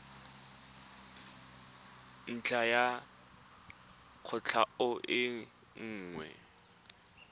ntlha ya kwatlhao e nngwe